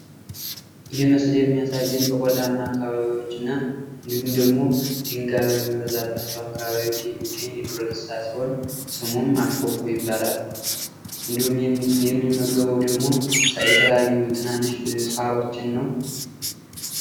ይህ ምስል የሚያሳየን በቆላማ አካባቢዎችንና እንዲሁም ደግሞ ድንጋይ በሚበዛባቸው አካባቢዎች የሚገኝ የዱር እንስሳ ሲሆን ስሙም አሽኮኮ ይባላል። እንዲሁም ደግሞ የሚመገበው ደግሞ የተለያዩ ትንንሽ ሳሮችን ነው።